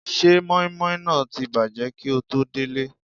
Ṣé mọ́ímọ́í náà ti bàjẹ́ kíi o tó délé?